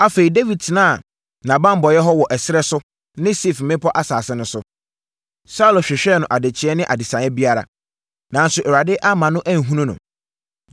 Afei, Dawid tenaa nʼabanbɔeɛ hɔ wɔ ɛserɛ so ne Sif mmepɔ asase no so. Saulo hwehwɛɛ no adekyeɛ ne adesaeɛ biara, nanso Awurade amma no anhunu no.